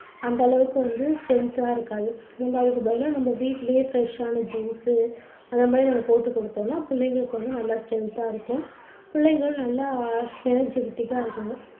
அந்த அளவுக்கு வந்து strength ஆ இருக்காது. நம்ம அதுக்கு பதிலா நம்ம வீட்டுலேயே fresh ஆன juice சு அந்த மாதிரி நம்ம போட்டுக் குடுத்தோம்னா புள்ளைங்களுக்கு நல்ல strength ஆ இருக்கும். புள்ளைங்களும் நல்லா energetic ஆ இருப்பாங்க.